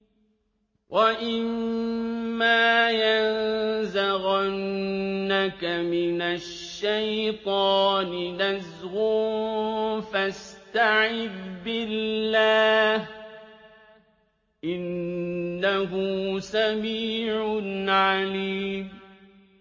وَإِمَّا يَنزَغَنَّكَ مِنَ الشَّيْطَانِ نَزْغٌ فَاسْتَعِذْ بِاللَّهِ ۚ إِنَّهُ سَمِيعٌ عَلِيمٌ